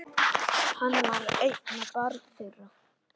Hann var eina barn þeirra.